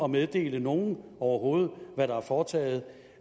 meddele nogen overhovedet hvad der er foretaget